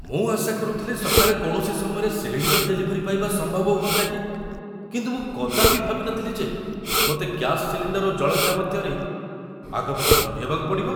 ମୁଁ ଆଶା କରୁଥିଲି ସକାଳେ କୌଣସି ସମୟରେ ସିଲିଣ୍ଡର ଡେଲିଭରି ପାଇବା ସମ୍ଭବ ହୁଅନ୍ତା କି। କିନ୍ତୁ ମୁଁ କଦାପି ଭାବି ନଥିଲି ଯେ ମୋତେ ଗ୍ୟାସ ସିଲିଣ୍ଡର୍ ଓ ଜଳଖିଆ ମଧ୍ୟରେ ଆଗ ପଛ ଧନ୍ଦିହେବାକୁ ପଡ଼ିବ!